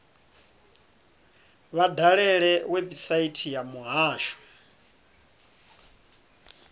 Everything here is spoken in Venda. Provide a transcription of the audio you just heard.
vha dalele website ya muhasho